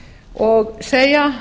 og segja